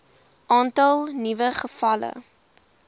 aantal nuwe gevalle